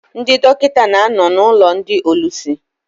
Ndị dọkịta na-ano n' ụlọ ndị ólúsi.